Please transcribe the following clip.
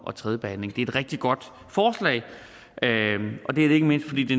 og tredje behandling det er et rigtig godt forslag og det er det ikke mindst fordi det